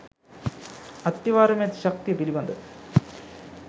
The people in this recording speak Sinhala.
අත්තිවාරමේ ඇති ශක්තිය පිළිබඳ